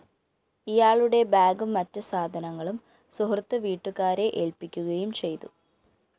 ഇയാളുടെ ബാഗും മറ്റ് സാധനങ്ങളും സുഹൃത്ത് വീട്ടുകാരെ ഏല്‍പ്പിക്കുകയും ചെയ്തു